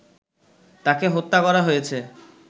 তাকে হত্যা করা হয়েছে